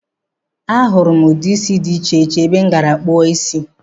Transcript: A hụrụ m ude isi dị iche iche ebe m gara ịkpụ isi.